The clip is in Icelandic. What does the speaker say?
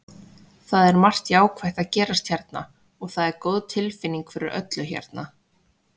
Það er margt jákvætt að gerast hérna og það er góð tilfinning fyrir öllu hérna.